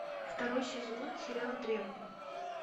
второй сезон сериал древние